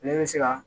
Ne bɛ se ka